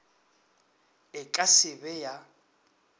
e ka se be ya